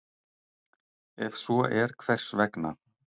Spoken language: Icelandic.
Ef svo er hvers vegna?